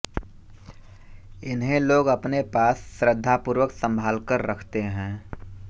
इन्हें लोग अपने पास श्रद्धापूर्वक संभालकर रखते हैं